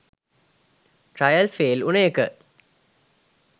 Trial fail උන එක.